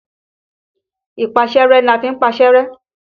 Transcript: Ìpaṣẹ́rẹ́ ni a fi ń paṣẹ́ rẹ́.